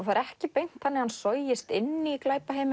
það er ekki beint þannig að hann sogist inn í